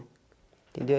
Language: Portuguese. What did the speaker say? Entendeu?